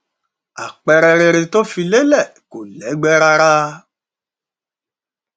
àpẹẹrẹ rere tó fi lélẹ kò lẹgbẹ rárá